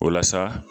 Walasa